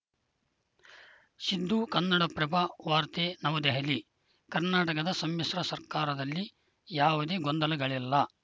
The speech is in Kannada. ಸಿದ್ದು ಕನ್ನಡಪ್ರಭ ವಾರ್ತೆ ನವದೆಹಲಿ ಕರ್ನಾಟಕದ ಸಮ್ಮಿಶ್ರ ಸರ್ಕಾರದಲ್ಲಿ ಯಾವುದೇ ಗೊಂದಲಗಳಿಲ್ಲ